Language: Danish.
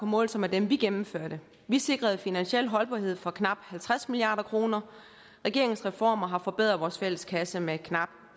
måle sig med dem vi gennemførte vi sikrede finansiel holdbarhed for knap halvtreds milliard kroner regeringens reformer har forbedret vores fælles kasse med knap